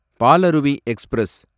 Palaruvi express